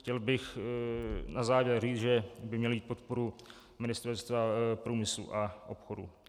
Chtěl bych na závěr říci, že by měl mít podporu Ministerstva průmyslu a obchodu.